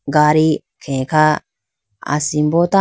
gadi khe kha asimbo tando.